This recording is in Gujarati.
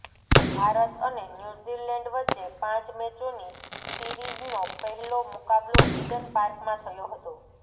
ભારત અને ન્યુઝીલેન્ડ વચ્ચે પાંચ મેચોની સીરીઝનો પહેલો મુકાબલો ઈડન પાર્કમાં થયો હતો